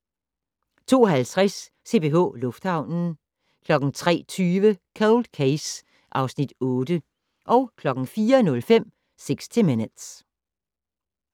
02:50: CPH Lufthavnen 03:20: Cold Case (Afs. 8) 04:05: 60 Minutes